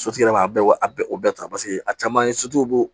Sotigi yɛrɛ b'a bɛɛ wɛ a bɛɛ o bɛɛ ta paseke a caman ye